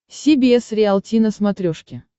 си би эс риалти на смотрешке